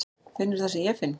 Finnurðu það sem ég finn?